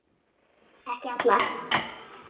Ekki alla.